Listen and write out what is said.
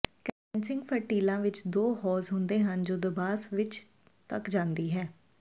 condensing ਫਰਟੀਲਾਂ ਵਿੱਚ ਦੋ ਹੌਜ਼ ਹੁੰਦੇ ਹਨ ਜੋ ਦਬਾਅ ਸਵਿੱਚ ਤਕ ਜਾਂਦੀ ਹੈ